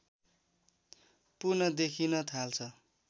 पुन देखिन थाल्छ